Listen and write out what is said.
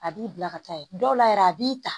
A b'i bila ka taa ye dɔw la yɛrɛ a b'i ta